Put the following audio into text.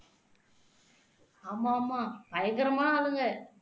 ஆமா ஆமா பயங்கரமான ஆளுங்க